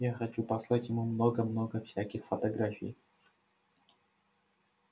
я хочу послать ему много-много всяких фотографий